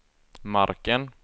marken